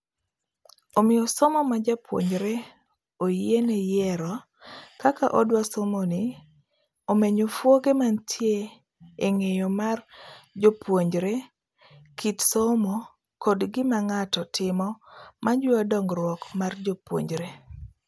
Omiyo somo majapuonjreoyiene yiero kaka odwa somoni omenyo fuoge mantie eng'eyo mar jopuonjre, kit somo, kod gima ng'ato timo majiwo dong'ruok mar jopuonjre.